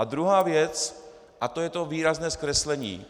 A druhá věc a to je to výrazné zkreslení.